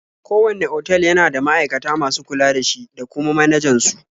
Kowanne otal yana da ma'aikata masu kula da shi da kuma manajan su.